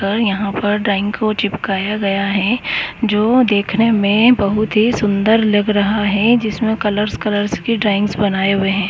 अर यहां पर ड्राइंग को चिपकाए गया है जो देखने में बहुत ही सुंदर लग रहा है। जिसमें कलरस कलरस की ड्राइंग्स बनाए हुए है।